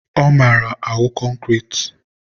ọ mara awụ concrete.